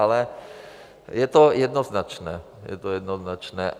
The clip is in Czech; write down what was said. Ale je to jednoznačné, je to jednoznačné.